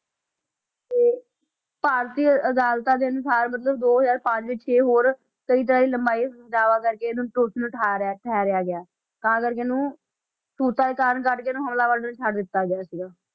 ਤੇ ਭਾਰਤੀ ਅਦਾਲਤਾਂ ਦੇ ਅਨੁਸਾਰ ਮਤਲਬ ਦੋ ਹਜ਼ਾਰ ਪੰਜ 'ਚ ਇਹ ਹੋਰ ਜ਼ਿਆਦਾ ਕਰਕੇ ਇਹਨੂੰ ਦੋਸ਼ੀ ਠਹਿਰਿਆ ਠਹਿਰਿਆ ਗਿਆ, ਤਾਂ ਕਰਕੇ ਇਹਨੂੰ ਸਬੂਤਾਂ ਦੀ ਘਾਟ ਕਰਕੇ ਇਹਨੂੰ ਹਮਲਾਵਰ ਨੂੰ ਛੱਡ ਦਿੱਤਾ ਗਿਆ ਸੀਗਾ।